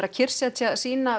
að kyrrsetja